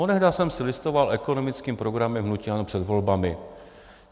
Onehdy jsem si listoval ekonomickým programem hnutí ANO před volbami.